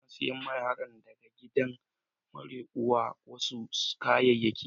Na saya ma yaran da ka gidan mara uwa wasu kayaki.